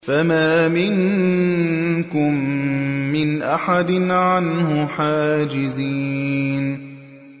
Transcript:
فَمَا مِنكُم مِّنْ أَحَدٍ عَنْهُ حَاجِزِينَ